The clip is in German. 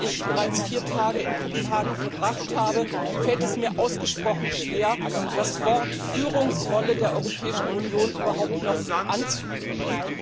Nachdem ich bereits vier Tage in Kopenhagen verbracht habe, fällt es mir ausgesprochen schwer, das Wort Führungsrolle der Europäischen Union überhaupt noch anzuhören.